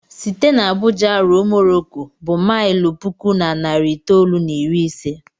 Site n'Abuja ruo Morocco bụ maịlụ puku na narị itoolu na iri ise